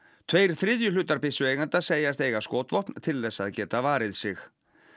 tveir þriðju hlutar byssueigenda segjast eiga skotvopn til þess að geta varið sig